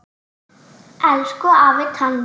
Elsku afi Tani.